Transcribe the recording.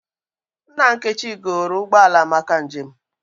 Nna Nkechi goro ụgbọ ala maka njem